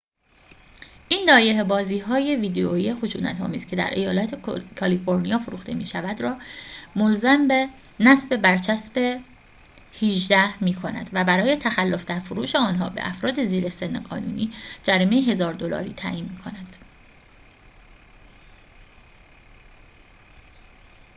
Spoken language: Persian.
این لایحه بازی های ویدئویی خشونت آمیز که در ایالت کالیفرنیا فروخته می شود را ملزم به نصب برچسب ۱۸ می‌کند و برای تخلف در فروش آنها به افراد زیر سن قانونی جریمه ۱۰۰۰ دلاری تعیین می‌کند